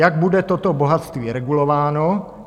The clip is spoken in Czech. Jak bude toto bohatství regulováno?